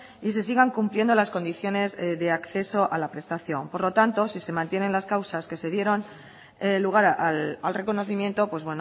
y se sigan cumpliendo las condiciones de acceso a la prestación por lo tanto si se mantienen las causas que se dieron lugar al reconocimiento pues